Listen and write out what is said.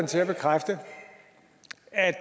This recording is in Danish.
til at bekræfte at